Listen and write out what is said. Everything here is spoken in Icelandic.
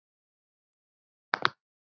Ég trúi þessu varla enn.